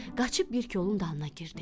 Qaçıb bir kolun dalına girdi.